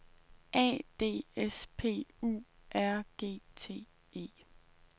A D S P U R G T E